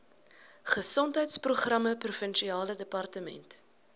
gesondheidsprogramme provinsiale departement